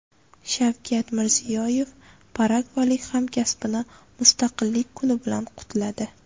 Shavkat Mirziyoyev paragvaylik hamkasbini mustaqillik kuni bilan qutladi.